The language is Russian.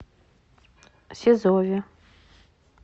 сизове